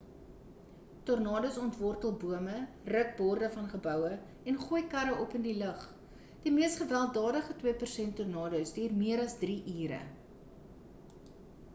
tornados ontwortel bome ruk borde van geboue en gooi karre op in die lug in die mees gewelddadige twee persent tornadoes duur meer as drie ure